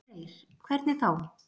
Freyr: Hvernig þá?